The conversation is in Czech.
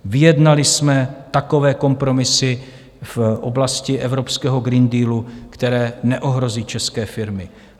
Vyjednali jsme takové kompromisy v oblasti evropského Green Dealu, které neohrozí české firmy.